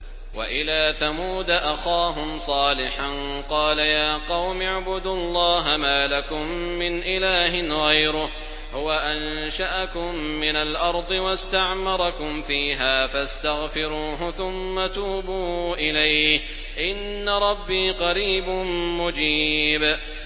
۞ وَإِلَىٰ ثَمُودَ أَخَاهُمْ صَالِحًا ۚ قَالَ يَا قَوْمِ اعْبُدُوا اللَّهَ مَا لَكُم مِّنْ إِلَٰهٍ غَيْرُهُ ۖ هُوَ أَنشَأَكُم مِّنَ الْأَرْضِ وَاسْتَعْمَرَكُمْ فِيهَا فَاسْتَغْفِرُوهُ ثُمَّ تُوبُوا إِلَيْهِ ۚ إِنَّ رَبِّي قَرِيبٌ مُّجِيبٌ